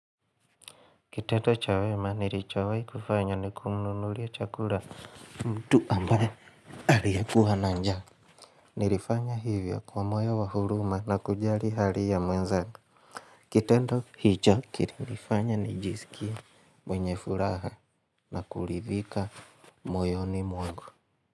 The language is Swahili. Kitendo cha wema nilishawai kufanya ni kumnunulia chakula mtu ambaye aliyekuwa na njaa Nilifanya hivyo kwa moyo wa huruma na kujali hali ya mwenzangu Kitendo hicho kilinifanya nijisikie mwenye furaha na kuridhika moyoni mwangu.